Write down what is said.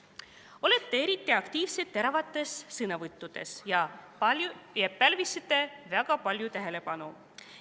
Olete eriti aktiivsed teravates sõnavõttudes ja pälvisite väga palju tähelepanu.